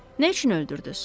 Nə üçün öldürdüz?